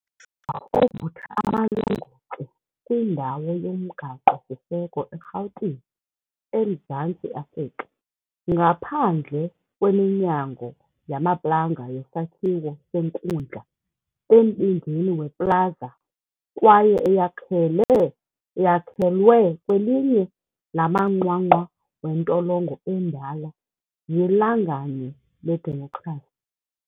Ovutha amalongotye kwindawo yomgaqo-siseko eRhawutini, eMzantsi Afrika. Ngaphandle kweminyango yamaplanga yesakhiwo senkundla, embindini weplaza kwaye eyakhelwe kwelinye lamanqwanqwa wentolongo endala yiLanganye Ledemokhrasi.